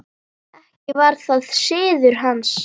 Ekki var það siður hans.